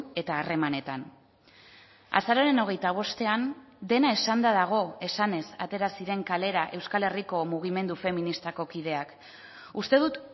eta harremanetan azaroaren hogeita bostean dena esanda dago esanez atera ziren kalera euskal herriko mugimendu feministako kideak uste dut